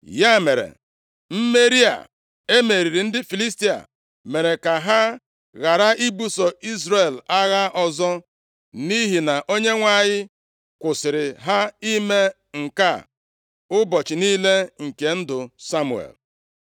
Ya mere, mmeri a e meriri ndị Filistia mere ka ha ghara ibuso Izrel agha ọzọ, nʼihi na Onyenwe anyị kwụsịrị ha ime nke a ụbọchị niile nke ndụ Samuel.